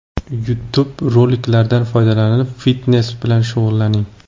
YouTube roliklaridan foydalanib, fitnes bilan shug‘ullaning.